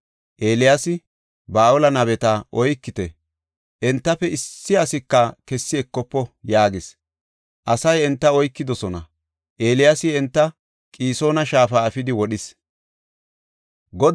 Eeliyaasi, “Ba7aale nabeta oykite; entafe issi asika kessi ekofo” yaagis. Asay enta oykidosona; Eeliyaasi enta Qisoona Shaafa efidi wodhis.